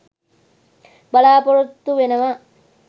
බලාපොරොත්තු වෙනවා.